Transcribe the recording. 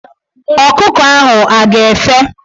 Ọkụkọ ahụ a ga--efe?